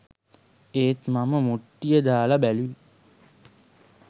ඒත් මම මුට්ටිය දාලා බැලුවේ